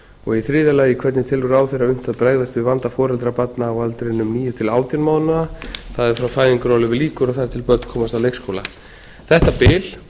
og í þriðja lagi hvernig telur ráðherra unnt að bregðast við vanda foreldra barna á aldrinum níu til átján mánaða það er frá því fæðingarorlofi lýkur og þar til börn komast á leikskóla þetta bil